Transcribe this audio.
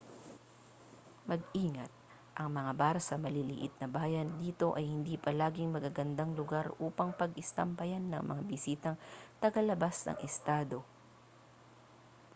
mag-ingat ang mga bar sa maliliit-na-bayan dito ay hindi palaging magagandang lugar upang pag-istambayan ng mga bisitang taga-labas ng estado